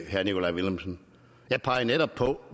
herre nikolaj villumsen jeg pegede netop på at